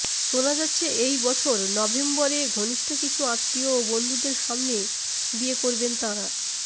শোনা যাচ্ছে এই বছর নভেম্বরে ঘনিষ্ঠ কিছু আত্মীয় ও বন্ধুদের সামনে বিয়ে করবেন তাঁরা